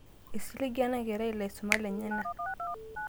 eisiliga enerai ilaisumak lenyenak